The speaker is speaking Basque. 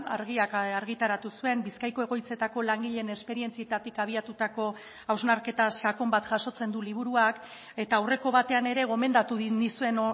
argiak argitaratu zuen bizkaiko egoitzetako langileen esperientzietatik abiatutako hausnarketa sakon bat jasotzen du liburuak eta aurreko batean ere gomendatu nizuen